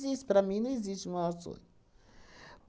para mim não existe o maior sonho.